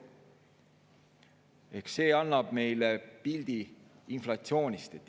Eks see annab meile pildi inflatsioonist.